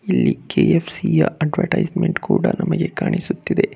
ಇಲ್ಲಿ K F _C ಯ advertisement ಕೂಡ ನಮಗೆ ಕಾಣಿಸುತ್ತಿದೆ.